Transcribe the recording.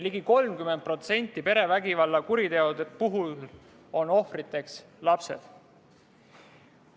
Ligi 30% perevägivalla kuritegude puhul olid ohvriks lapsed.